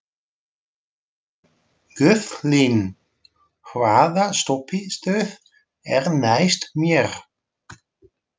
Guðlín, hvaða stoppistöð er næst mér?